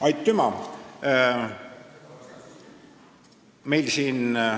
Aitüma!